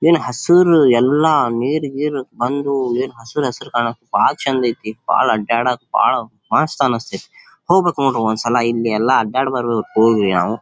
ಏನ್ ಹಸಿರು ಎಲ್ಲಾ ನೀರ್ ಗಿರ್ ಬಂದು ಏನ್ ಹಸೀರ್ ಹಸೀರ್ ಕಾಣ್ಕ್ ಬಾಳ್ ಚಂದ್ ಐತಿ ಬಾಳ್ ಅಡ್ಡಾಡಕ್ ಬಾಳ್ ಮಸ್ತ್ ಅನ್ನಸ್ತತಿ ಹೋಗಬೇಕ್ ನೋಡ್ರಿ ಒಂದ್ ಸಲ ಇಲ್ಲಿ ಇಲ್ಲೆಲ್ಲಾ ಅಡ್ಡಾಡಿ ಬರಬೇಕು ಹೋಗ್ ರೀ ಯಾವ್ನ .